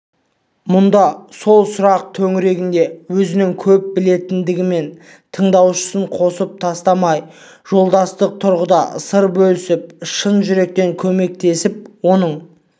мұнда сол сұрақ төңірегінде өзінің көп білетіндігімен тыңдаушысын қысып тастамай жолдастық тұрғыда сыр бөлісіп шын жүректен көмектесіп оның